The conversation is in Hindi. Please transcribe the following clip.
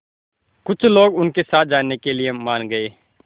कुछ लोग उनके साथ जाने के लिए मान गए